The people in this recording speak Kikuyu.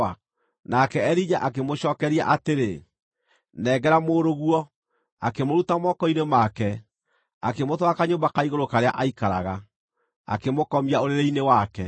Nake Elija akĩmũcookeria atĩrĩ, “Nengera mũrũguo,” akĩmũruta moko-inĩ make, akĩmũtwara kanyũmba ka igũrũ karĩa aikaraga, akĩmũkomia ũrĩrĩ-inĩ wake.